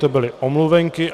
To byly omluvenky.